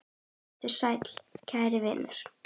Vertu sæll, kæri vinur.